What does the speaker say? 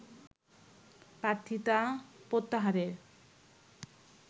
প্রার্থীতা প্রত্যাহারের